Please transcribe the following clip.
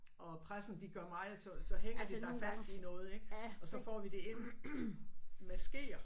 Og pressen de gør meget så så hænger de sig fast i noget ik. Og så får vi det ind med skeer